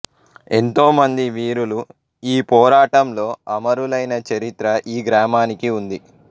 ఎంతో మంది వీరులు ఈ పోరాటంలో అమరులైన చరిత్ర ఈ గ్రామానికి ఉంది